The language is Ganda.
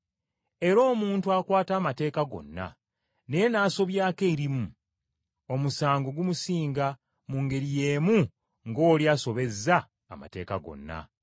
Era omuntu akwata amateeka gonna, naye n’asobyako erimu, omusango gumusinga mu ngeri y’emu ng’oli asobezza amateeka gonna.